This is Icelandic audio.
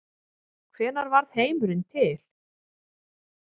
Hvenær varð heimurinn til?